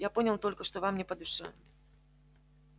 я понял только что вам не по душе